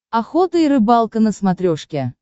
охота и рыбалка на смотрешке